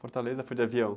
Fortaleza foi de avião?